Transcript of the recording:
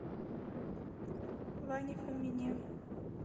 ване фомине